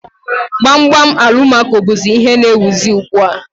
Gbam gbam Alụmaco bụzị ihe n'éwuzi ugbu a